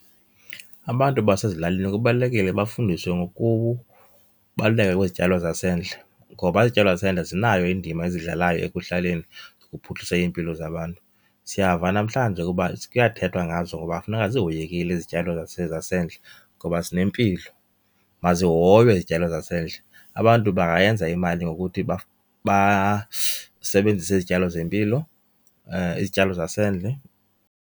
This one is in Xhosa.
Abantu basezilalini kubalulekile bafundiswe ngokubaluleka kwezityalo zasendle ngoba izityalo zasendle zinayo indima eziyidlalayo ekuhlaleni ukuphuhlisa iimpilo zabantu. Siyava namhlanje ukuba kuyathethwa ngazo uba funeka zihoyekile izityalo zasendle ngoba zinempilo, mazihoywe izityalo zasendle. Abantu bangayenza imali ngokuthi basebenzise izityalo zempilo, izityalo zasendle.